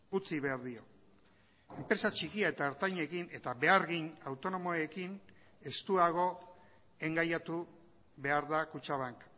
utzi behar dio enpresa txikia eta ertainekin eta behargin autonomoekin estuago engaiatu behar da kutxabank